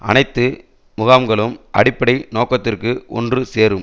அனைத்து முகாம்களும் அடிப்படை நோக்கத்திற்கு ஒன்று சேரும்